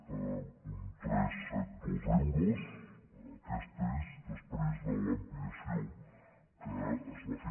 tres cents i setanta dos euros aquesta és després de l’ampliació que es va fer